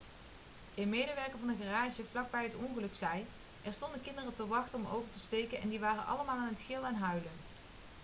een medewerker van een garage vlak bij het ongeluk zei: 'er stonden kinderen te wachten om over te steken en die waren allemaal aan het gillen en huilen.'